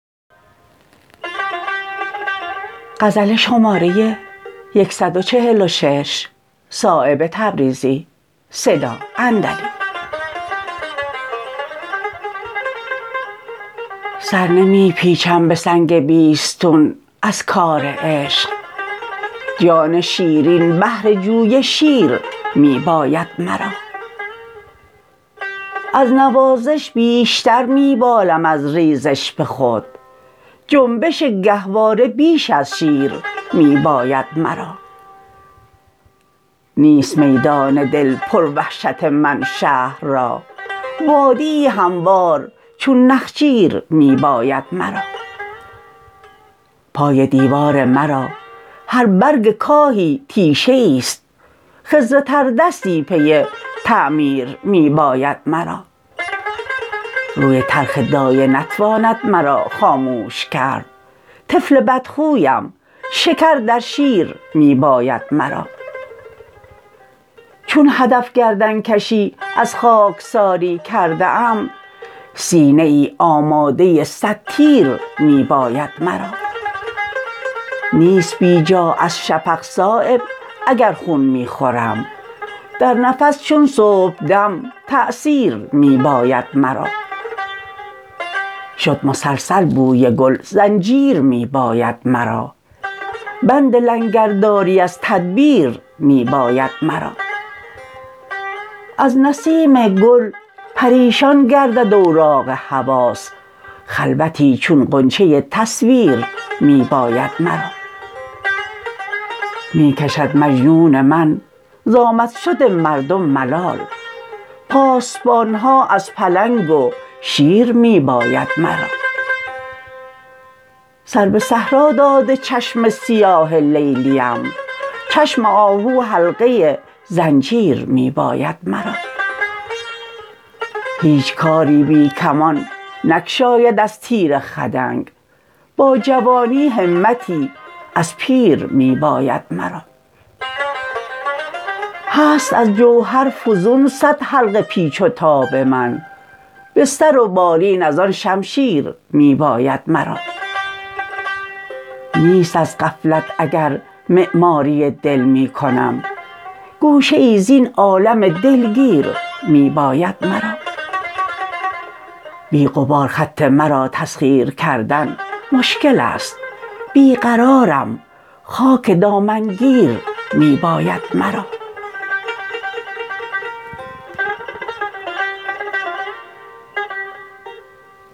شد مسلسل بوی گل زنجیر می باید مرا بند لنگرداری از تدبیر می باید مرا از نسیم گل پریشان گردد اوراق حواس خلوتی چون غنچه ای تصویر می باید مرا می کشد مجنون من ز آمد شد مردم ملال پاسبان ها از پلنگ و شیر می باید مرا سر به صحرا داده چشم سیاه لیلیم چشم آهو حلقه زنجیر می باید مرا هیچ کاری بی کمان نگشاید از تیر خدنگ با جوانی همتی از پیر می باید مرا هست از جوهر فزون صد حلقه پیچ و تاب من بستر و بالین ازان شمشیر می باید مرا نیست از غفلت اگر معماری دل می کنم گوشه ای زین عالم دلگیر می باید مرا بی غبار خط مرا تسخیر کردن مشکل است بی قرارم خاک دامنگیر می باید مرا سرنمی پیچم به سنگ بیستون از کار عشق جان شیرین بهر جوی شیر می باید مرا از نوازش بیشتر می بالم از ریزش به خود جنبش گهواره بیش از شیر می باید مرا نیست میدان دل پر وحشت من شهر را وادیی هموار چون نخجیر می باید مرا پای دیوار مرا هر برگ کاهی تیشه ای است خضر تردستی پی تعمیر می باید مرا روی تلخ دایه نتواند مرا خاموش کرد طفل بدخویم شکر در شیر می باید مرا چون هدف گردنکشی از خاکساری کرده ام سینه ای آماده صد تیر می باید مرا نیست بی جا از شفق صایب اگر خون می خورم در نفس چون صبحدم تأثیر می باید مرا